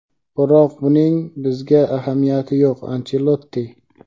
biroq buning bizga ahamiyati yo‘q — Anchelotti.